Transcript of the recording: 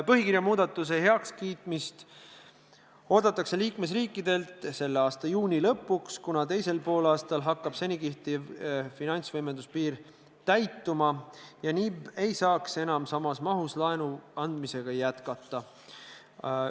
Põhikirja muudatuse heakskiitmist oodatakse liikmesriikidelt selle aasta juuni lõpuks, kuna teisel poolaastal hakkab seni kehtiv finantsvõimenduse piir täituma ja NIB ei saaks enam samas mahus laenuandmisega jätkata.